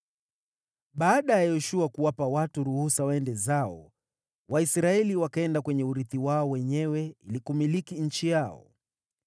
Baada ya Yoshua kuwapa watu ruhusa waende zao, Waisraeli wakaenda kwenye urithi wao wenyewe ili kumiliki nchi yao.